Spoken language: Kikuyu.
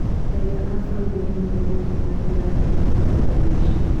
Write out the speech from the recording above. Raiya a Saudia nomende kũona njĩra ya kwĩruta mbara-inĩ icio